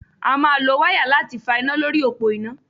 A máa lo wáyà láti fa iná lórí òpó iná.